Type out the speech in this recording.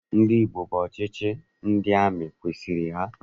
Ndị Igbo bụ ọchịchị ndị amị kwesiri ha.